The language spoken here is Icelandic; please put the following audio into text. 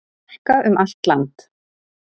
Hálka um allt land